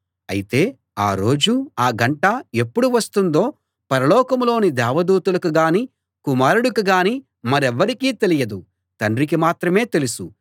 అయితే ఆ రోజు ఆ గంట ఎప్పుడు వస్తుందో పరలోకంలోని దేవదూతలకు గాని కుమారుడికి గానీ మరెవ్వరికీ తెలియదు తండ్రికి మాత్రమే తెలుసు